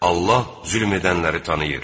Allah zülm edənləri tanıyır.